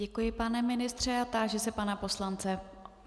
Děkuji, pane ministře a táži se pana poslance.